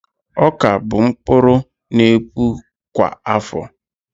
Ọka bụ mkpụrụ n'epu kwa áfọ̀